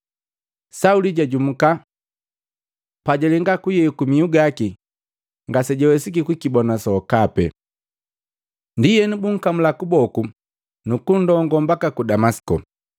Sauli jajumuka, pa jalenga kuyeku mihu gaki ngasejawesiki kukibona sokapi. Ndienu bunkamula kuboku nuku nndongo mbaka ku Damasiko.